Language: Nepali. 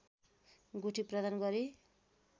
गुठी प्रदान गरी